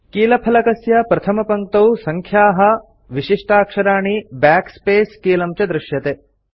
कीलफलकस्य प्रथमपङ्क्तौ सङ्ख्याः विशिष्टाक्षराणि backspace कीलं च दृश्यते